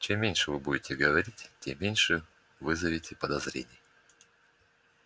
чем меньше вы будете говорить тем меньше вызовете подозрений